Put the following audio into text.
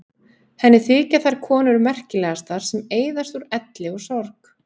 Henni þykja þær konur merkilegastar sem eyðast úr elli og sorg.